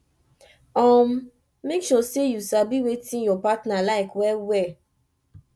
um mek sure say yu sabi wetin yur partner like well well